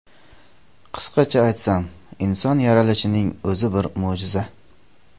Qisqacha aytsam, inson yaralishining o‘zi bir mo‘jiza.